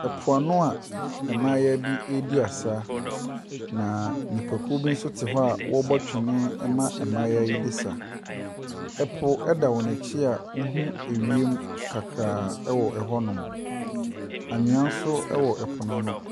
Po ano a mmayewa bi redi asa, na nnipakuo bi nso te hɔ a wɔrebɔ twene ma mmayewa yi de resa. Po da wɔn akyi a wohu wiem kakraa wɔ hɔnom. Anwea nso wɔ po no ano.